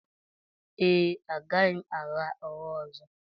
Ee, agaghị m agha ụgha ọzọ